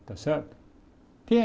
Está certo?